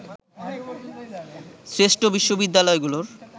শ্রেষ্ঠ বিশ্ববিদ্যালয়গুলোর